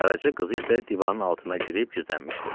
Qaraca qız isə divanın altına girib gizlənmişdi.